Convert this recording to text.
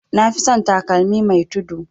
Nafi son takalmi mai tudu